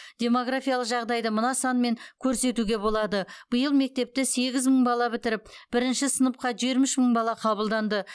демографиялық жағдайды мына санмен көрсетуге болады биыл мектепті сегіз мың бала бітіріп бірінші сыныпқа жиырма үш мың бала қабылданды